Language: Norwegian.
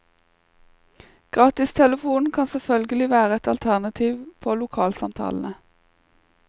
Gratistelefonen kan selvfølgelig være et alternativ på lokalsamtalene.